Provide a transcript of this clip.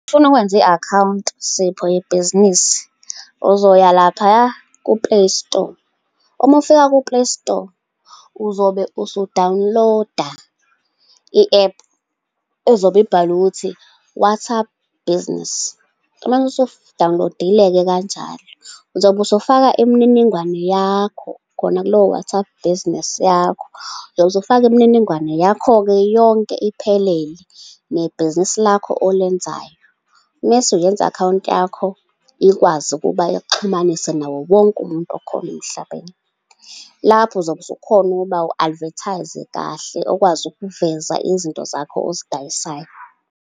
Umufuna ukwenza i-akhawunti Sipho, yebhizinisi, uzoya laphaya ku-Play Store, uma ufika ku-Play Store, uzobe usu-download-a i-app ezobe ibhalwe ukuthi, WhatsApp Business. Umase usu-download-ile-ke kanjalo, uzobe usufaka imininingwane yakho, khona kulo WhatsApp Business yakho. Uzofaka imininingwane yakho-ke yonke iphelele, nebhizinisi lakho olenzayo. Mese uyenza i-akhawunti yakho ikwazi ukuba ikuxhumanise nawo wonke umuntu okhona emhlabeni. Lapho uzobe usukhona ukuba u-advertise-e kahle, ukwazi ukuveza izinto zakho ozidayisayo.